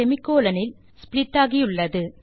semi colon இல் split ஆகியுள்ளது